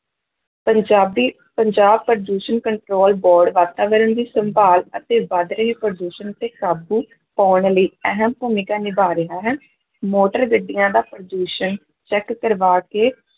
ਪੰਜਾਬੀ ਪੰਜਾਬ ਪ੍ਰਦੂਸ਼ਣ control board ਵਾਤਾਵਰਨ ਦੀ ਸੰਭਾਲ ਅਤੇ ਵੱਧ ਰਹੇ ਪ੍ਰਦੂਸ਼ਣ ਉੱਤੇ ਕਾਬੂ ਪਾਉਣ ਲਈ ਅਹਿਮ ਭੂਮਿਕਾ ਨਿਭਾਅ ਰਿਹਾ ਹੈ ਮੋਟਰ ਗੱਡੀਆਂ ਦਾ ਪ੍ਰਦੂਸ਼ਣ check ਕਰਵਾ ਕੇ